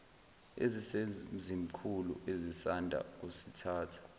esisemzimkhulu esisanda kusithatha